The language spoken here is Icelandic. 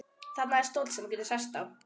Þarna er stóll sem þú getur sest á.